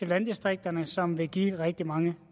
landdistrikterne som vil give rigtig mange